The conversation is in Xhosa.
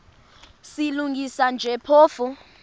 silungisa nje phofu